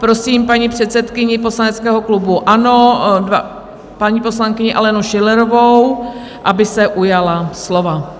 Prosím paní předsedkyni poslaneckého klubu ANO, paní poslankyni Alenu Schillerovou, aby se ujala slova.